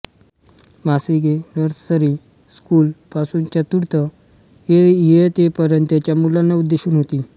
मासिके nursery school पासून चतुर्थ इयत्तेपर्यंतच्या मुलांना उद्देशून होती